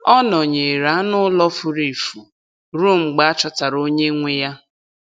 Ọ nọnyeere anụ ụlọ furu efu ruo mgbe a chọtara onye nwe ya.